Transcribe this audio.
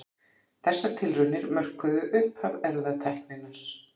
Þessar tilraunir mörkuðu upphaf erfðatækninnar.